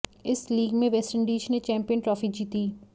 इस लीग में वेस्टइंडीज ने चैंपियन ट्रॉफी जीती